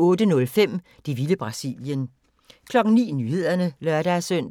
08:05: Det vilde Brasilien 09:00: Nyhederne (lør-søn)